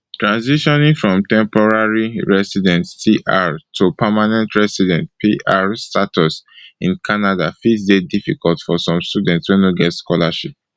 transitioning from temporary resident tr to permanent resident pr status in canada fit dey difficult for some students wey no get sponsorship